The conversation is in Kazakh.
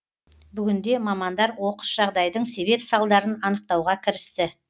бүгінде мамандар оқыс жағдайдың себеп салдарын анықтауға кірісті